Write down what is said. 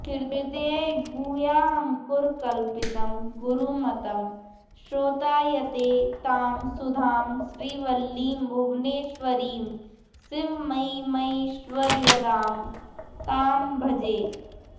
हृद्गुह्याङ्कुरकल्पितं गुरुमतं स्रोतायते तां सुधां श्रीवल्लीं भुवनेश्वरीं शिवमयीमैश्वर्यदां तां भजे